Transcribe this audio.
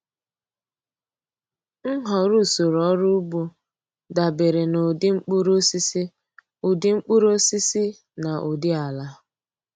Nhọrọ usoro ọrụ ugbo dabere na ụdị mkpụrụosisi ụdị mkpụrụosisi na ụdị ala.